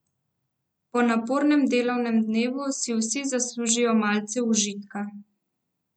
Po napornem delovnem dnevu si vsi zaslužijo malce užitka.